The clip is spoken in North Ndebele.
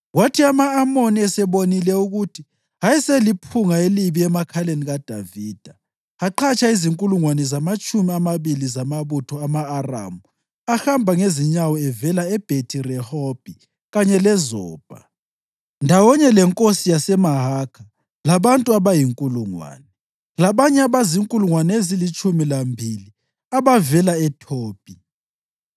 Kwathi ama-Amoni esebonile ukuthi ayeseliphunga elibi emakhaleni kaDavida, aqhatsha izinkulungwane ezingamatshumi amabili zamabutho ama-Aramu ahamba ngezinyawo evela eBhethi-Rehobhi kanye leZobha, ndawonye lenkosi yaseMahakha labantu abayinkulungwane, labanye abazinkulungwane ezilitshumi lambili abavela eThobhi.